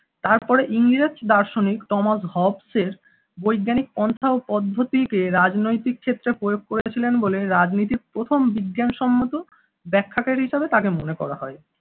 তারপরে ইংরেজ দার্শনিক টমাস হবসের বৈজ্ঞানিক পন্থা ও পদ্ধতিতে রাজনৈতিক ক্ষেত্রে প্রয়োগ করেছিলেন বলে রাজনীতির প্রথম বিজ্ঞানসম্মত ব্যাখ্যা কারি হিসেবে তাকে মনে করা হয়।